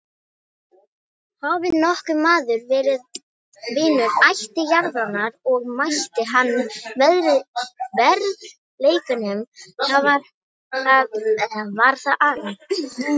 Hafi nokkur maður verið vinur ættjarðarinnar og metið hana að verðleikum var það Aron.